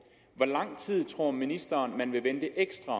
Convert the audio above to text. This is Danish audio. hvor lang tid tror ministeren man vil vente ekstra